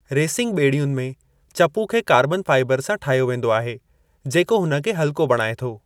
Racing बे॒ड़ियुनि में चपू खे कार्बन फाइबर सां ठाहियो वेंदो आहे जेको हुन खे हल्को बणाए थो।